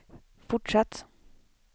fortsatt